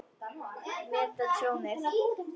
Meta tjónið.